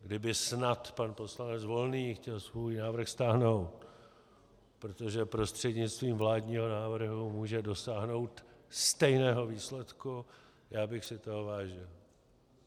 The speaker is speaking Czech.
Kdyby snad pan poslanec Volný chtěl svůj návrh stáhnout, protože prostřednictvím vládního návrhu může dosáhnout stejného výsledku, já bych si toho vážil.